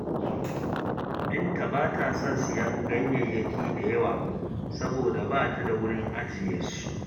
Binta ba ta son siyan ganyayaki da yawa, saboda ba ta da wurin ajiye su